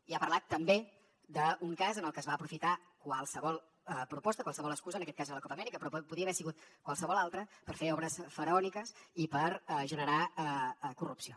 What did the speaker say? i ha parlat també d’un cas en el que es va aprofitar qualsevol proposta qualsevol excusa en aquest cas era la copa amèrica però podia haver sigut qualsevol altra per fer obres faraòniques i per generar corrupció